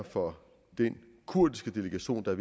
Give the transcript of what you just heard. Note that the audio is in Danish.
for den kurdiske delegation der